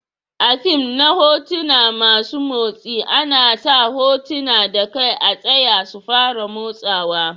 A'fim na hotuna masun motsi ana sa hotuna da kai a tsaya su fara motsawa.